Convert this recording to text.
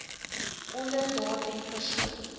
onder daardie persoon